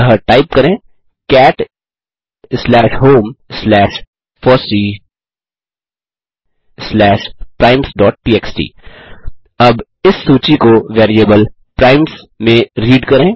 अतः टाइप करें cat slash home slash FOSSEE slash primesटीएक्सटी अब इस सूची को वेरिएबल प्राइम्स में रीड करें